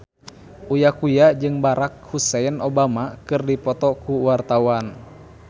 Uya Kuya jeung Barack Hussein Obama keur dipoto ku wartawan